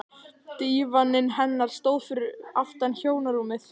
Dívaninn hennar stóð fyrir aftan hjónarúmið.